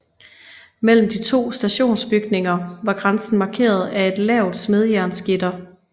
Mellem de to stationsbygninger var grænsen markeret af et lavt smedejernsgitter